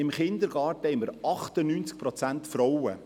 – Im Kindergarten haben wir 98 Prozent Frauen.